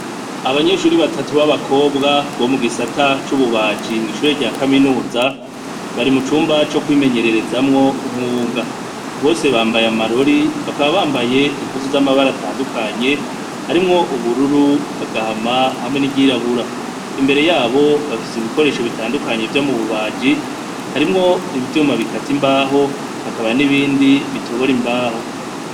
Abanyeshure batatu babakobwa bomugisata cububaji mwishure ryakaminuza bari mucumba cokwimenyererezamwo umwuga bose bambaye amarori bakaba bambaye impuzu zamabara atandukanye harimwo ubururu agahama hamwe niryirabura imbere yabo bafise ibikoresho bitandukanye vyomububaji harimwo ivyuma bikata imbaho hakaba nibindi bitobira imbaho